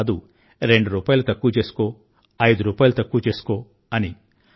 ఇంత కాదు రెండు రూపాయిలు తక్కువ చేసుకో ఐదు రూపాయిలు తక్కువ చేసుకో